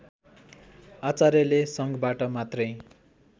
आचार्यले सङ्घबाट मात्रै